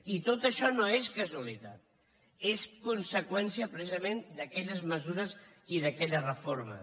i tot això no és casualitat és conseqüència precisament d’aquelles mesures i d’aquella reforma